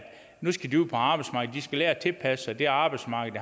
de skal lære at tilpasse sig det arbejdsmarked